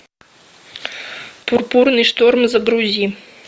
пурпурный шторм загрузи